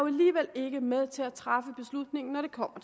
alligevel ikke med til at træffe beslutningen når det kommer